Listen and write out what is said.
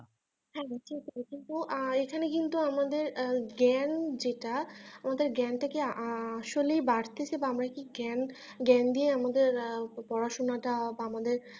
হ্যাঁ কিন্তু এখানে কিন্তু আহ আমাদের জ্ঞান যেটা আমাদের জ্ঞানটা কি আসলেই বাড়ছে বা আমরা কি জ্ঞান জ্ঞান দিয়ে আমাদের পড়াশোনাটা বা আমাদের